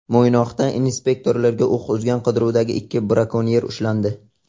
Mo‘ynoqda inspektorlarga o‘q uzgan qidiruvdagi ikki brakonyer ushlandi.